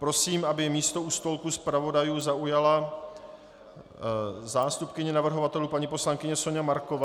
Prosím, aby místo u stolku zpravodajů zaujala zástupkyně navrhovatelů paní poslankyně Soňa Marková.